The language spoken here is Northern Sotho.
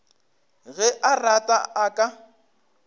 ge a rata a ka